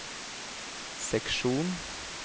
seksjon